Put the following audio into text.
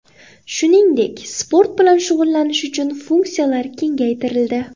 Shuningdek, sport bilan shug‘ullanish uchun funksiyalar kengaytirildi.